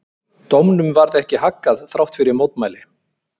Dómnum varð ekki haggað þrátt fyrir mótmæli.